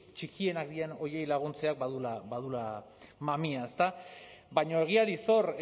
txikienak diren horiei laguntzeak baduela mamia ezta baina egiari zor